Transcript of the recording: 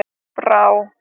Brá